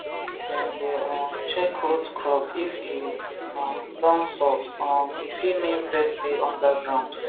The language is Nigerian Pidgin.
dem dey um check root crop if e um don soft um e fit mean pest dey under ground